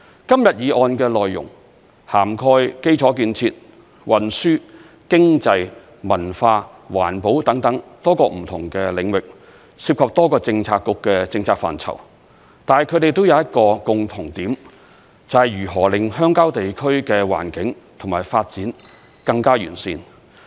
今天議案的內容涵蓋基礎建設、運輸、經濟、文化、環保等多個不同的領域，涉及多個政策局的政策範疇，但它們都有一個共同點，就是如何令鄉郊地區的環境和發展更加完善。